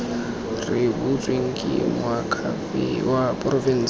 rebotsweng ke moakhaefe wa porofense